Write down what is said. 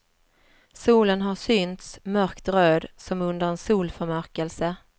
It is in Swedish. Solen har synts mörkt röd, som under en solförmörkelse.